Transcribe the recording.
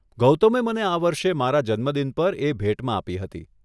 ગૌતમે મને આ વર્ષે મારા જન્મદિન પર એ ભેટમાં આપી હતી.